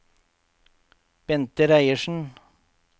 Bente Reiersen